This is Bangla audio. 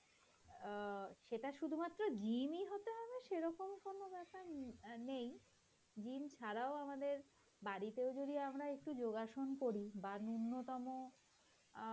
অ্যাঁ সেটা শুধুমাত্র gym হতে হবে সেরকম কোনো ব্যাপার নে~ নেই gym ছাড়াও আমাদের বাড়িতেও যদি আমরা একটু যোগাসন করি বাহঃ ন্যূনতম অ্যাঁ